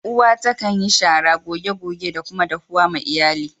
Uwa ta kan yi shara, goge goge da kuma dahuwa ma Iyalli.